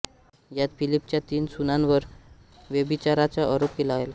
यात फिलिपच्या तीन सुनांवर व्यभिचाराचा आरोप केला गेला